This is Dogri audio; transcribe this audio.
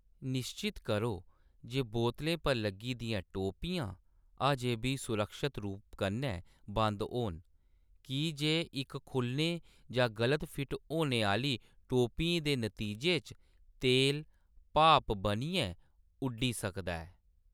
निश्चत करो जे बोतलें पर लग्गी दियां टोपियां अजें बी सुरक्षत रूप कन्नै बंद होन, की जे इक खु'ल्लने जां गलत फिट होने आह्‌‌‌ली टोपी दे नतीजे च तेल भाप बनियै उड्डी सकदा ऐ।